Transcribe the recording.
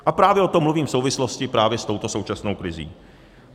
A právě o tom mluvím v souvislosti právě s touto současnou krizí.